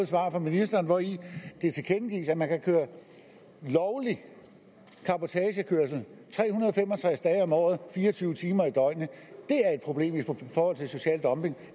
svar fra ministeren hvori det tilkendegives at man kan køre lovlig cabotagekørsel tre hundrede og fem og tres dage om året fire og tyve timer i døgnet det er et problem i forhold til social dumping